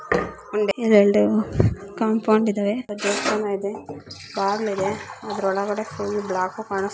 ಒಂದ್ ಎರಡು ಕಾಂಪೌಂಡ್ ಇದಾವೆ ಒಂದು ದೇವಸ್ಥಾನ ಇದೆ ಬಾಗಿಲು ಇದೆ ಅದರ ಒಳಗಡೆ ಎಲ್ಲ ಬ್ಲಾಕ್ ಕಾನಿಸ್ತಾಇದೆ.